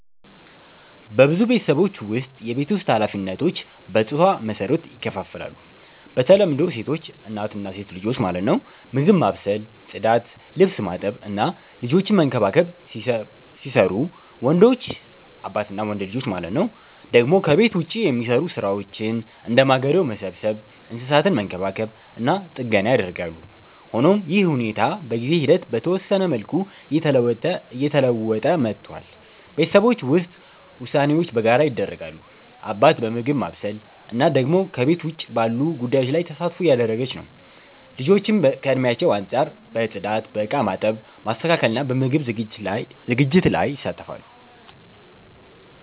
በብዙ ቤተሰቦች ውስጥ የቤት ውስጥ ኃላፊነቶች በጾታ መሰረት ይከፋፈላሉ። በተለምዶ ሴቶች (እናት እና ሴት ልጆች) ምግብ ማብሰል፣ ጽዳት፣ ልብስ ማጠብ እና ልጆችን መንከባከብ ሲሰሩቡ፣ ወንዶች (አባት እና ወንድ ልጆች) ደግሞ ከቤት ውጭ የሚሰሩ ሥራዎችን፣ እንደ ማገዶ መሰብሰብ፣ እንስሳትን መንከባከብ እና ጥገና ያደርጋሉ። ሆኖም ይህ ሁኔታ በጊዜ ሂደት በተወሰነ መልኩ እየተለወጠ መጥቷል። ቤተሰቦች ውስጥ ውሳኔዎች በጋራ ይደረጋሉ፤ አባት በምግብ ማብሰል፣ እናት ደግሞ ከቤት ውጭ ባሉ ጉዳዮች ላይ ተሳትፎ እያደረገች ነው። ልጆችም ከእድሜያቸው አንጻር በጽዳት፣ በእቃ ማጠብ፣ ማስተካከል እና በምግብ ዝግጅት ላይ ይሳተፋሉ።